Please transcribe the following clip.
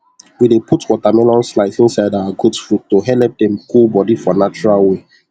we dey put watermelon slice inside our goat food to helep dem cool body for natural way